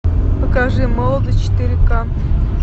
покажи молодость четыре ка